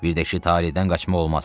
Birdə ki, talehdən qaçmaq olmaz.